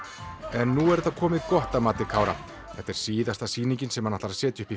en nú er þetta komið gott að mati Kára þetta er síðasta sýningin sem hann ætlar að setja upp í